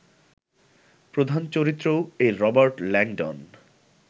প্রধান চরিত্রও এই রবার্ট ল্যাংডন